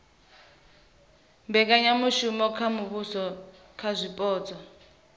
mbekanyamitele ya muvhuso kha zwipotso